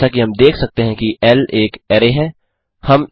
जैसा कि हम देख सकते हैं कि ल एक अरै है